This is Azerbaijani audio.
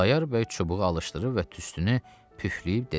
Xudayar bəy çubuğu alışdırıb və tüstünü püfləyib dedi.